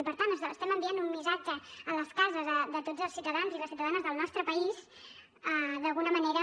i per tant estem enviant un missatge a les cases de tots els ciutadans i les ciutadanes del nostre país d’alguna manera